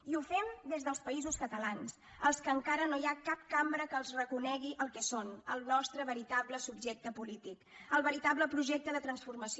i ho fem des dels països catalans als quals encara no hi ha cap cambra que els reconegui el que són el nostre veritable subjecte polític el veritable projecte de transformació